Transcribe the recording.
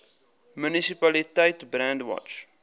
munisipaliteit brandwatch